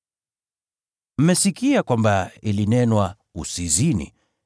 “Mmesikia kwamba ilinenwa, ‘Usizini.’